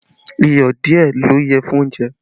Iyọ̀ díẹ̀ ló yẹ fún oúnjẹ